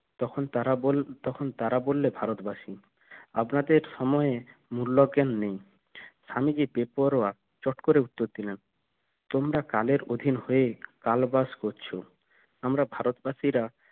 তখন তারা বললে ভারতবাসী আপনাদের সময়ের মূল্যজ্ঞান নেই স্বামীজি বেপরোয়া চট করে উত্তর দিলেন কালের অধীন হয়ে কাল বাস করছ আমরা ভারতবাসীরা